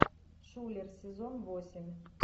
шулер сезон восемь